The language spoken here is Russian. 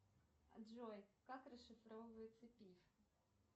джой как расшифровывается пиф